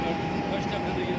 Baxın, başqa nə gəlir.